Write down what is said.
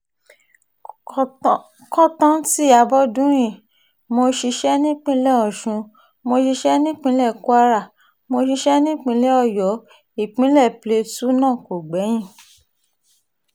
kọ́ńtántí abọ́dúnrin mo ṣiṣẹ́ nípìnlẹ̀ ọ̀sún mo ṣiṣẹ́ nípìnlẹ̀ kwara mo ṣiṣẹ́ nípìnlẹ̀ ọ̀yọ́ ìpínlẹ̀ plateau náà kò gbẹ́yìn